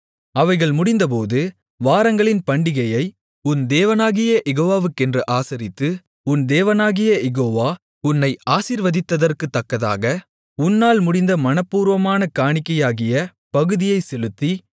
அவைகள் முடிந்தபோது வாரங்களின் பண்டிகையை உன் தேவனாகிய யெகோவாவுக்கென்று ஆசரித்து உன் தேவனாகிய யெகோவா உன்னை ஆசீர்வதித்ததற்குத்தக்கதாக உன்னால் முடிந்த மனப்பூர்வமான காணிக்கையாகிய பகுதியைச் செலுத்தி